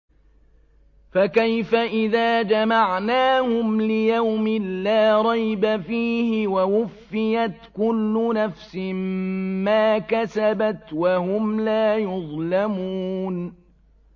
فَكَيْفَ إِذَا جَمَعْنَاهُمْ لِيَوْمٍ لَّا رَيْبَ فِيهِ وَوُفِّيَتْ كُلُّ نَفْسٍ مَّا كَسَبَتْ وَهُمْ لَا يُظْلَمُونَ